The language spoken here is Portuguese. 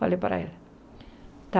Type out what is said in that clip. Falei para ele, tá.